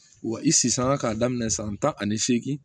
Wa i sisanga k'a daminɛ san tan ani seegin